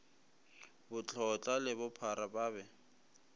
botlotla le bophara ba be